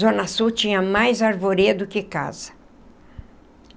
Zona sul tinha mais arvoredo que casa.